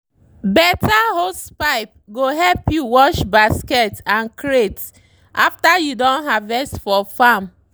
better hosepipe go help you wash basket and crate after you don harvest for farm.